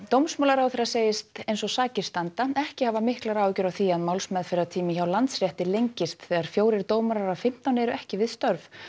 dómsmálaráðherra segist eins og sakir standa ekki hafa miklar áhyggjur af því að málsmeðferðartími hjá Landsrétti lengist þegar fjórir dómarar af fimmtán eru ekki við störf